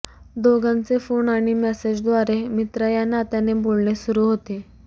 दोघांचे फोन आणि मॅसेजद्वारे मित्र या नात्याने बोलणे सुरू होते